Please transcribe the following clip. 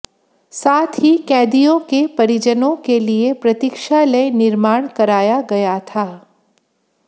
साथ ही कैदियों के परिजनों के लिए प्रतिक्षालय निर्माण कराया गया था